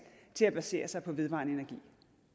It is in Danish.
til at basere sig på vedvarende energi